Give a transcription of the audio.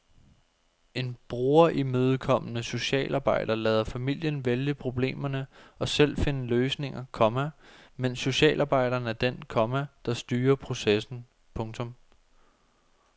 En brugerimødekommende socialarbejder lader familien vælge problemerne og selv finde løsninger, komma mens socialarbejderen er den, komma der styrer processen. punktum